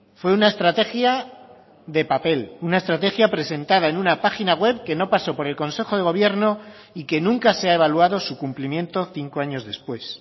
fue una estrategia de papel una estrategia presentada en una página web que no pasó por el consejo de gobierno y que nunca se ha evaluado su cumplimiento cinco años después